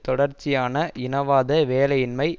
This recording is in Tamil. தொடர்ச்சியான இனவாத வேலையின்மை